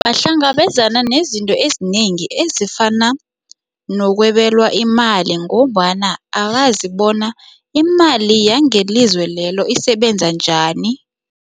Bahlangabezana nezinto ezinengi ezifana nokwebelwa imali ngombana akazi bona imali yangelizwe lelo isebenza njani.